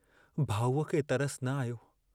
भाऊअ खे तरसु न आयो।